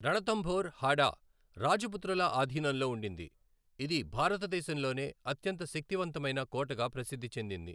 రణథంబోర్ హాడా రాజపుత్రుల ఆధీనంలో ఉండింది, ఇది భారతదేశంలోనే అత్యంత శక్తివంతమైన కోటగా ప్రసిద్ధి చెందింది.